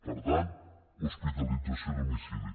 per tant hospitalització a domicili